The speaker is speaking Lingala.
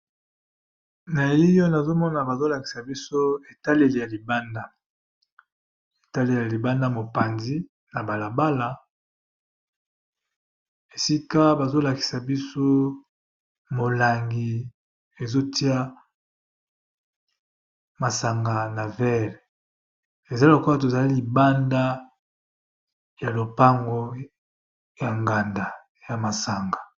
Na elili nazomona bazo lakisa biso etaleli ya libanda, etaleli ya libanda mopanzi na bala bala esika bazo lakisa biso molangi ezotia masanga na vere eza lokola tozali libanda ya lopango ya nganda ya masanga.